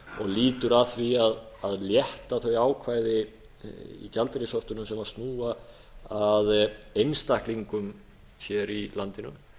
lýtur að því að létta þau ákvæði í gjaldeyrishöftunum sem snúa að einstaklingum hér í landinu